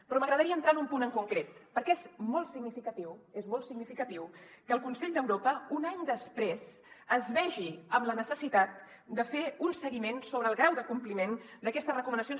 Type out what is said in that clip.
però m’agradaria entrar en un punt en concret perquè és molt significatiu és molt significatiu que el consell d’europa un any després es vegi amb la necessitat de fer un seguiment sobre el grau de compliment d’aquestes recomanacions